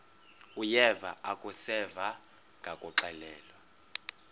uyeva akuseva ngakuxelelwa